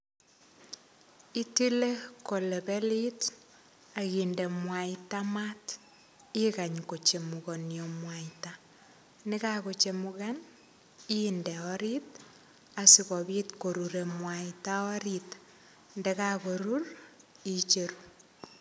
Itile kolebelit, akinde mwaita maat. Ikany kochemukanio mwaita. Nekakochemukan inde orit, asikobit korure mwaita orit. Ndekakorur, icheru.